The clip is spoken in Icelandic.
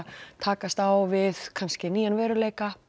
takast á við nýjan veruleika